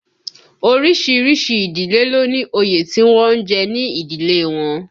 Orísìírísìí ìdílé ló ní òye tí wọ́n ń jẹ ní ìdílé wọn